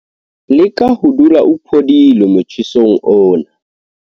Leka ho dula o phodile motjhesong ona.